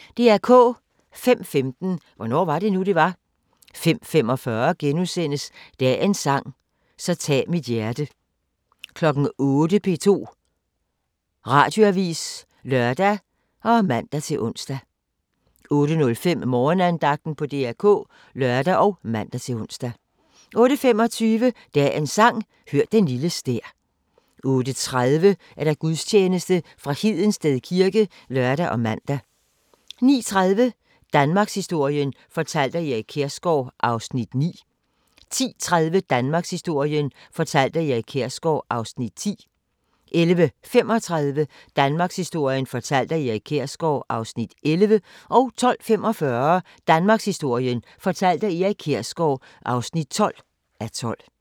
05:15: Hvornår var det nu, det var? 05:45: Dagens sang: Så tag mit hjerte * 08:00: P2 Radioavis (lør og man-ons) 08:05: Morgenandagten på DR K (lør og man-ons) 08:25: Dagens Sang: Hør den lille stær 08:30: Gudstjeneste fra Hedensted kirke (lør og man) 09:30: Danmarkshistorien fortalt af Erik Kjersgaard (9:12) 10:30: Danmarkshistorien fortalt af Erik Kjersgaard (10:12) 11:35: Danmarkshistorien fortalt af Erik Kjersgaard (11:12) 12:45: Danmarkshistorien fortalt af Erik Kjersgaard (12:12)